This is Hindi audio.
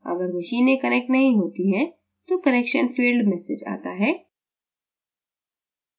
अगर मशीनें connect नहीं होतीं तो connection failed message आता है